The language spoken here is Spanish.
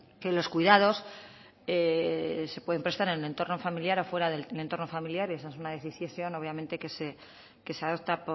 que los cuidados se pueden prestar en el entorno familiar o fuera del entorno familiar esa es una decisión obviamente que se adopta